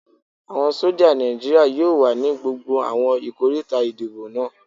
Àwọn sójà Nàìjíríyà yóò wà ní gbogbo àwọn ikoríta ìdìbò náà